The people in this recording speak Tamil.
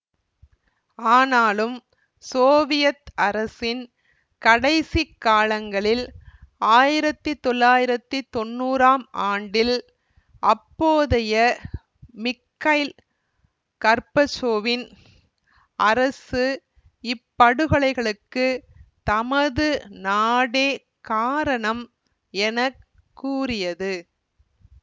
ஆனாலும் சோவியத் அரசின் கடைசி காலங்களில் ஆயிரத்தி தொள்ளாயிரத்தி தொன்னூறாம் ஆண்டில் அப்போதைய மிக்கைல் கர்பச்சோவின் அரசு இப்படுகொலைகளுக்கு தமது நாடே காரணம் என கூறியது